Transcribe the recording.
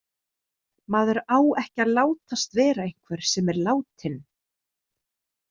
Maður á ekki að látast vera einhver sem er látinn.